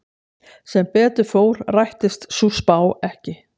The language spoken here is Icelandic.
Sem betur fór rættist sú spá ekki.